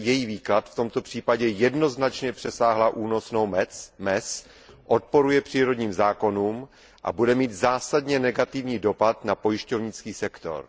její výklad, v tomto případě jednoznačně přesáhla únosnou mez, odporuje přírodním zákonům a bude mít zásadně negativní dopad na pojišťovnický sektor.